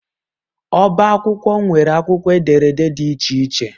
Ọbá akwụkwọ nwere akwụkwọ ederede dị iche iche